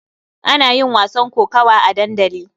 Ana yin wasan kokawa a dandali.